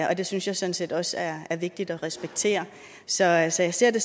og det synes jeg sådan set også er vigtigt at respektere så jeg ser ser det